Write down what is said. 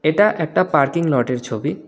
এটা একটা পার্কিং লটের ছবি।